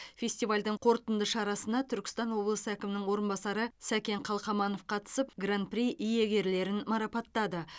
фестивальдің қорытынды шарасына түркістан облысы әкімінің орынбасары сәкен қалқаманов қатысып гран при иегерлерін марапаттады